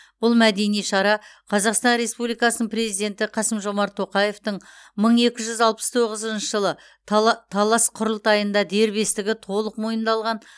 бұл мәдени шара қазақстан республикасының президенті қасым жомарт тоқаевтың мың екі жүз алпыс тоғызыншы жылы тала талас құрылтайында дербестігі толық мойындалған